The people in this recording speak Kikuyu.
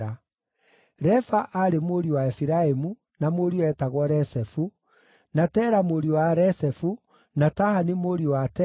Refa aarĩ mũriũ wa Efiraimu, na mũriũ eetagwo Resefu, na Tela mũriũ wa Resefu, na Tahani mũriũ wa Tela,